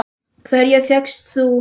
Hverja fékkst þú?